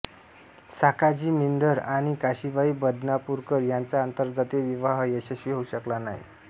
साखाजी मिनधर आणि काशीबाई बदनापूरकर यांचा आंतरजातीय विवाह यशस्वी होऊ शकला नाही